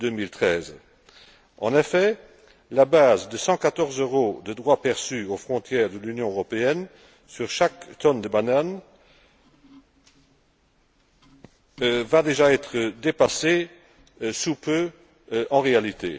2013. En effet, la base de 114 euros de droits perçus aux frontières de l'Union européenne, sur chaque tonne de bananes, va déjà être dépassée sous peu dans la réalité.